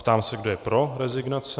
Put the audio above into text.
Ptám se, kdo je pro rezignace.